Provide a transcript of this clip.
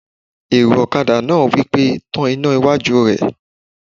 Èrò ọ̀kadà náà wí pé "tan iná iwájú rẹ!"